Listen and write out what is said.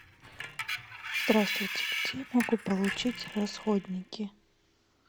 здравствуйте где я могу получить расходники